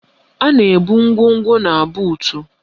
A na-ebu ngwongwo na buutu